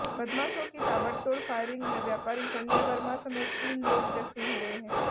बदमाशों की ताबड़तोड़ फायरिंग में व्यापारी संजय वर्मा समेत तीन लोग जख्मी हुए हैं